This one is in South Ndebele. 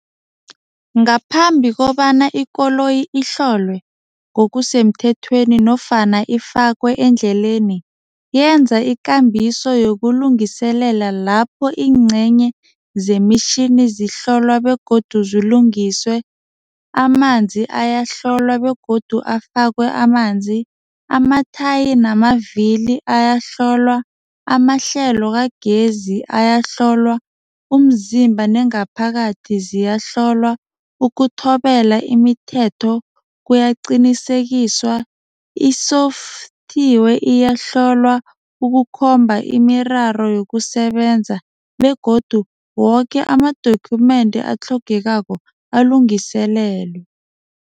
Ngaphambi kobana ikoloyi ihlolwe ngokusemthethweni nofana ifakwe endleleni, yenza ikambiso yokulungiselela lapho ingcenye zemitjhini yini zihlolwe begodu zilungiswe, amanzi ayahlolwa begodu afakwe amanzi, amathaya namavilo ayahlolwa, amahlelo kagezi ayahlolwa, umzimba nengaphakathi ziyahlolwa, ukuthobela imithetho kuyaqinisekiswa, iyahlolwa, ukukhomba imiraro yokusebenza begodu woke ama-document atlhogekako alungiselelwe.